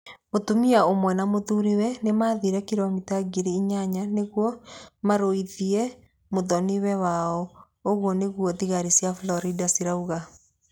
Mũtumia ũmwe na mũthuriwe nĩ maathire kiromita ngiri inyanya nĩguo 'marũithie' mũthoniwe wao, ũguo nĩguo thigari cia Florida ciugĩte.